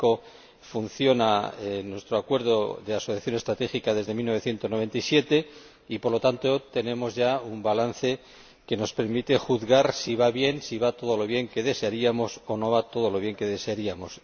México funciona en nuestro acuerdo de asociación estratégica desde 1997 y, por lo tanto, tenemos ya un balance que nos permite juzgar si va bien, si va todo lo bien que desearíamos o si no va todo lo bien que desearíamos.